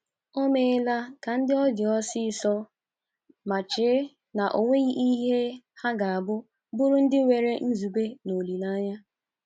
O meela ka ndị ọ dị ọsọọsọ ma chee na o nweghi ihe ha ga-abụ bụrụ ndị nwere nzube na olileanya.